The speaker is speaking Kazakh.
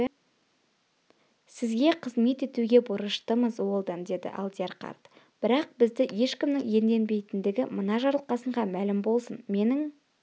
сізге қызмет етуге борыштымыз уэлдон деді алдияр қарт бірақ бізді ешкімнің иемденбейтіндігі мына жарылқасынға мәлім болсын менің